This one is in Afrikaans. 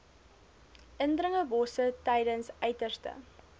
indringerbosse tydens uiterste